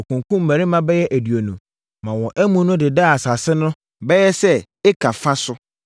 Wɔkunkumm mmarima bɛyɛ aduonu maa wɔn amu no dedaa asase no bɛyɛ sɛ eka fa so.